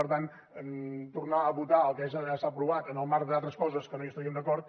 per tant tornar a votar el que ja s’ha aprovat en el marc d’altres coses que no hi estaríem d’acord